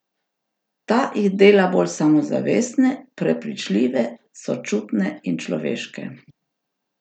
Ta jih dela bolj samozavestne, prepričljive, sočutne in človeške!